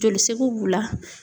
Jolisegu b'u la.